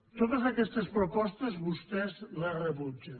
totes aquestes propostes vostès les rebutgen